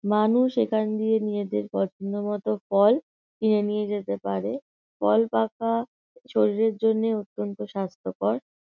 মানুষ এখান দিয়ে নিজেদের পছন্দমতো ফল কিনে নিয়ে যেতে পারে ফল পাকা শরীরের জন্য অত্যন্ত স্বাস্থ্যকর।